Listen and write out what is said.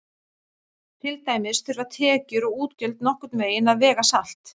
Til dæmis þurfa tekjur og útgjöld nokkurn veginn að vega salt.